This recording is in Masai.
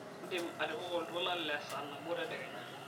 indim atipika oltuala le saa nabo tedekenya